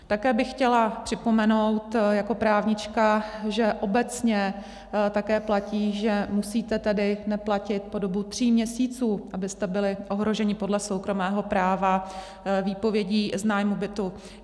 Také bych chtěla připomenout jako právnička, že obecně také platí, že musíte tedy neplatit po dobu tří měsíců, abyste byli ohroženi podle soukromého práva výpovědí z nájmu bytu.